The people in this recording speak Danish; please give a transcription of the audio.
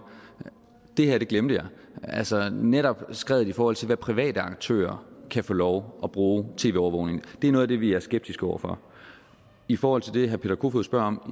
det her glemte jeg altså netop skredet i forhold til hvad private aktører kan få lov at bruge tv overvågning til det er noget af det vi er skeptiske over for i forhold til det herre peter kofod spørger om